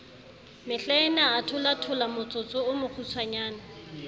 mehlaena a tholathola motsotsoo mokgutswanyane